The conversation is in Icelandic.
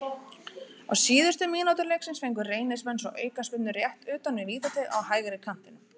Á síðustu mínútu leiksins fengu Reynismenn svo aukaspyrnu rétt utan við vítateig á hægri kantinum.